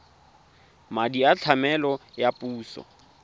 madi a tlamelo a puso